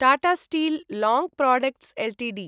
Tata steel long products Ltd